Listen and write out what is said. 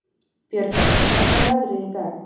Björgey, hvernig er veðrið í dag?